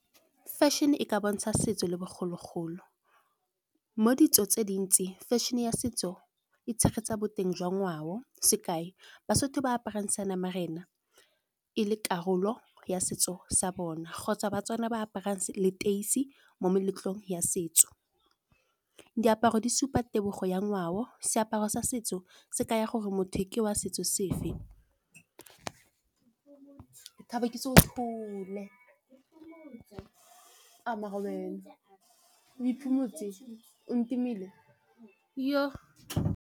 Fashion e ka bontsha setso le bogologolo, mo ditso tse dintsi fashion-e ya setso e tshegetsa boteng jwa ngwao. Sekai baSotho ba aparang seanamarena e le karolo ya setso sa bona kgotsa baTswana ba aparang leteisi mo meletlong ya setso. Diaparo di supa tebogo ya ngwao, seaparo sa setso se ka ya gore motho ke wa setso sefe. .